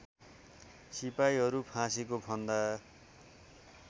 सिपाहीहरू फाँसीको फन्दा